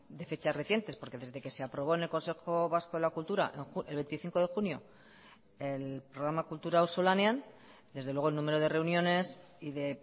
de fechas recientes porque desde que se aprobó en el consejo vasco de la cultura el veinticinco de junio el programa kultura auzolanean desde luego el número de reuniones y de